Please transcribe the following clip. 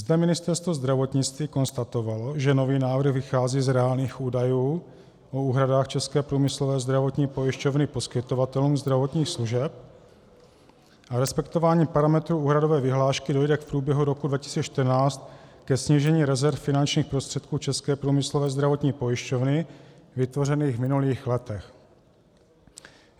Zde Ministerstvo zdravotnictví konstatovalo, že nový návrh vychází z reálných údajů o úhradách České průmyslové zdravotní pojišťovny poskytovatelům zdravotních služeb a respektováním parametru úhradové vyhlášky dojde v průběhu roku 2014 ke snížení rezerv finančních prostředků České průmyslové zdravotní pojišťovny vytvořených v minulých letech.